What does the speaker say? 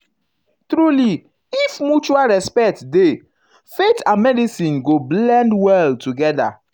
um truly if mutual respect dey respect dey faith and medicine go blend well together.